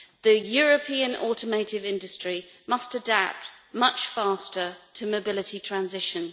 The European automotive industry must adapt much faster to mobility transition.